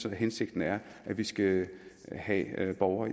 at hensigten er at vi skal have borgere